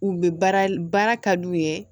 U bɛ baara ka d'u ye